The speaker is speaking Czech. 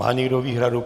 Má někdo výhradu?